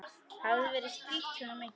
Hafði verið strítt svona mikið.